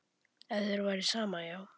Ef þér væri sama, já.